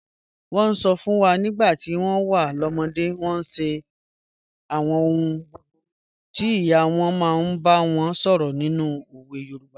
Wọ́n sọ fún wa nígbà tí wọ́n wà lọ́mọdé, wọ́n sì ń ṣe àwọn ohun búburú tí ìyá wọn máa ń bá wọn sọ̀rọ̀ nínú òwe Yorùbá.